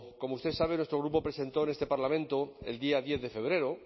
como usted sabe nuestro grupo presentó en este parlamento el día diez de febrero